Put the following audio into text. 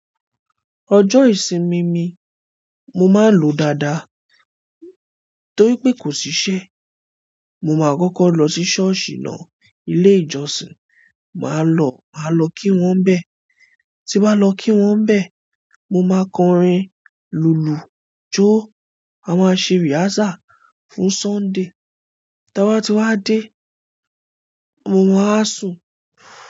Ọjọ́ ìsinmi mi, mo máa n lòó dáadáa torí pé kò sí iṣẹ́. Mo máa kọ́kọ́ lọ sí ṣọ́ọ̀ṣì náà. Ile ìjọsìn, maa lo, maa lo ki won nbe tí bá lọ kí wọ́nbẹ̀, mo máa kọrin, lùlù, jó, a máa ṣe rehearsal fún Sunday. Ta bá ti wá dé, mo máa wa sùn.